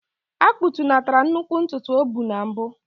A kpụtunatara nnukwu ntutu o bu na mbụ.